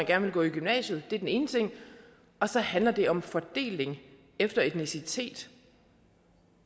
gerne vil gå i gymnasiet så handler det om fordeling efter etnicitet